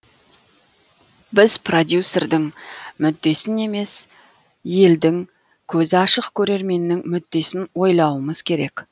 біз продюсердің мүддесін емес елдің көзі ашық көрерменнің мүддесін ойлауымыз керек